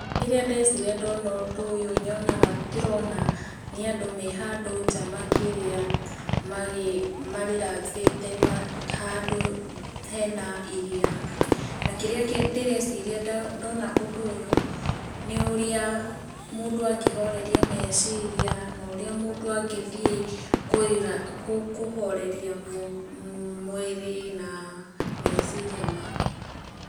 Kĩrĩa ndeciria ndona ũndũ ũyũ nyonaga, ndĩrona nĩ andũ me handũ nja makĩrĩa ma relax ĩte handũ hena iria, na kĩrĩa ndĩreciria ndona ũndũ ũyũ, nĩ ũrĩa mũndũ angĩhoreria meciria na ũrĩa mũndũ angĩthiĩ kũhoreria mwĩrĩ na meciria make.